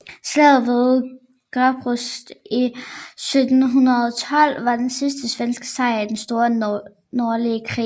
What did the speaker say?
Slaget ved Gadebusch i 1712 var den sidste svenske sejr i den store nordlige krig